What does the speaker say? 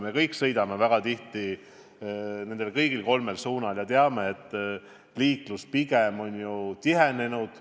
Me kõik sõidame väga tihti kõigil kolmel suunal ja teame, et liiklus on pigem tihenenud.